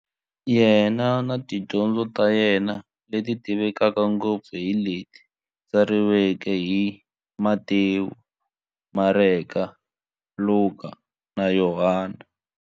Yena na tidyondzo ta yena, leti tivekaka ngopfu hi leti tsariweke hi, Matewu, Mareka, Luka, na Yohani.